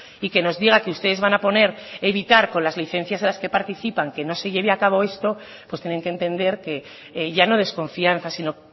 y que nos diga que ustedes van a poner evitar con las licencias con las que participan que no se lleve a cabo esto pues tienen que entender que ya no desconfianza sino